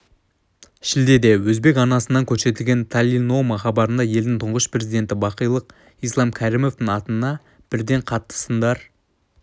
шілдеде өзбек арнасынан көрсетілген талилнома хабарында елдің тұңғыш президенті бақилық ислам кәрімовтің атына бірден қатты сындар